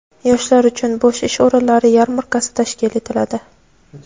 Yoshlar uchun bo‘sh ish o‘rinlari yarmarkasi tashkil etiladi.